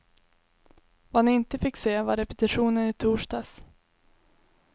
Vad ni inte fick se var repetitionen i torsdags.